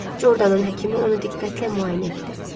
Jordanın həkimi onu diqqətlə müayinə etdi.